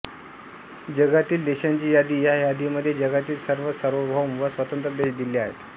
जगातील देशांची यादी ह्या यादीमध्ये जगातील सर्व सार्वभौम व स्वतंत्र देश दिले आहेत